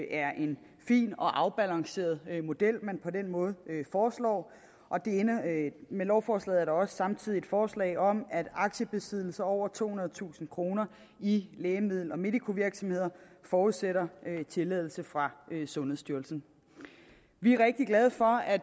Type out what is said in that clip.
er en fin og afbalanceret model man på den måde foreslår med lovforslaget også samtidig et forslag om at aktiebesiddelser over tohundredetusind kroner i lægemiddel og medicovirksomheder forudsætter tilladelse fra sundhedsstyrelsen vi er rigtig glade for at